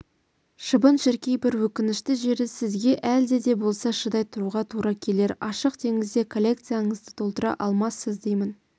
шыбын-шіркей бір өкінішті жері сізге әлде де болса шыдай тұруға тура келер ашық теңізде коллекцияңызды толтыра алмассыз деймін